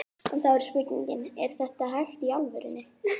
En þá er spurningin, er þetta hægt í alvörunni?